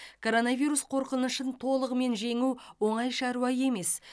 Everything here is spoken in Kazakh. коронавирус қорқынышын толығымен жеңу оңай шаруа емес